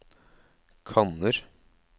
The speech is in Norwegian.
kanner